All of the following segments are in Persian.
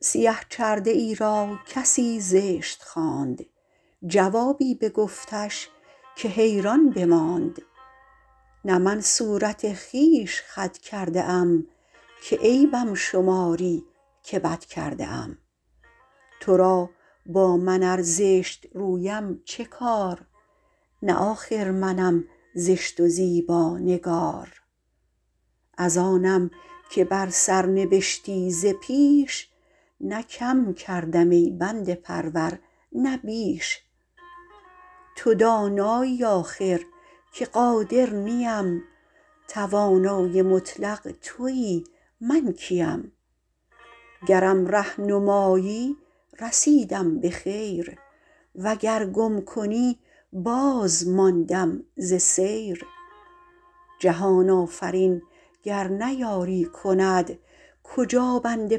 سیه چرده ای را کسی زشت خواند جوابی بگفتش که حیران بماند نه من صورت خویش خود کرده ام که عیبم شماری که بد کرده ام تو را با من ار زشت رویم چه کار نه آخر منم زشت و زیبانگار از آنم که بر سر نبشتی ز پیش نه کم کردم ای بنده پرور نه بیش تو دانایی آخر که قادر نیم توانای مطلق تویی من کیم گرم ره نمایی رسیدم به خیر وگر گم کنی باز ماندم ز سیر جهان آفرین گر نه یاری کند کجا بنده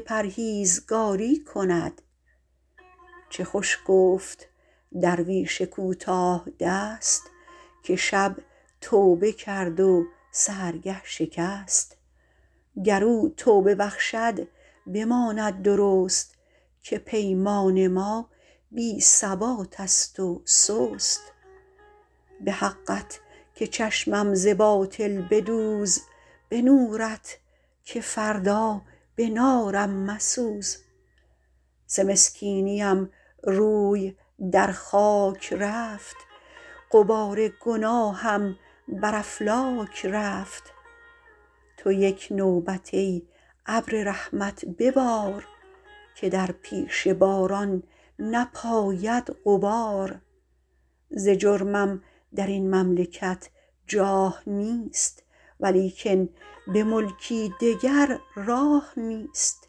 پرهیزکاری کند چه خوش گفت درویش کوتاه دست که شب توبه کرد و سحرگه شکست گر او توبه بخشد بماند درست که پیمان ما بی ثبات است و سست به حقت که چشمم ز باطل بدوز به نورت که فردا به نارم مسوز ز مسکینیم روی در خاک رفت غبار گناهم بر افلاک رفت تو یک نوبت ای ابر رحمت ببار که در پیش باران نپاید غبار ز جرمم در این مملکت جاه نیست ولیکن به ملکی دگر راه نیست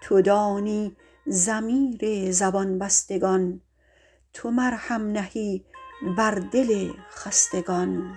تو دانی ضمیر زبان بستگان تو مرهم نهی بر دل خستگان